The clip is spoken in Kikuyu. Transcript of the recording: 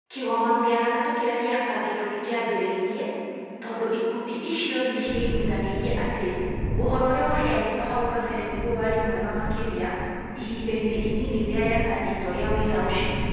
Kĩgomano gĩa gatatũ kĩrĩa kĩabangĩtwo gĩtiambĩrĩirie tondũ ikundi icio nĩ ciaiguithanirie atĩ ũhoro ũrĩa waheanĩtwo hau kabere nĩguo warĩ mwega makĩria ihinda-inĩ inini rĩrĩa rĩatanyĩtwo rĩa wĩra ũcio.